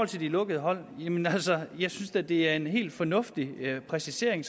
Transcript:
til de lukkede hold jamen altså jeg synes da det er en helt fornuftigt præcisering